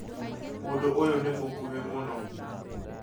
Mũndũ ũyũ nĩ mũkuhĩ mũno